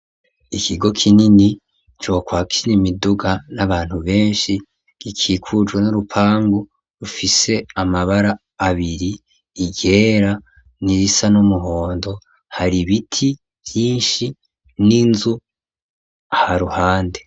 Ikigo kinini, cokwakira imiduga n'abantu benshi, gikikujwe n'urupangu rufise amabara abiri, iryera n'irisa n'umuhondo; hari ibiti vyinshi n'inzu ha ruhande.